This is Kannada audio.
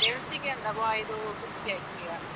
ಬೆಳ್ತಿಗೆ ಅಲ್ಲವಾ ಇದು ಕುಚ್ಗೆ ಅಕ್ಕಿಯಾ.